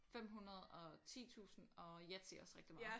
500 og 10000 og Yatzy også rigtig meget